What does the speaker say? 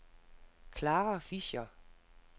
Clara Fischer